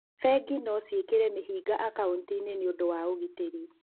Bengi no ciĩkĩre mĩhĩnga akaũnti-inĩ nĩ ũndũ wa ũgitĩri.